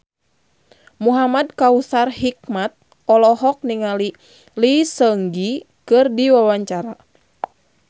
Muhamad Kautsar Hikmat olohok ningali Lee Seung Gi keur diwawancara